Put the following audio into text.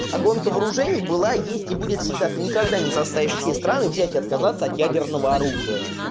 а гонка вооружений была есть и будет всегда ты никогда не составишь все страны взять и отказаться от ядерного оружия